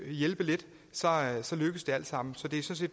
hjælpe lidt lykkes det alt sammen så det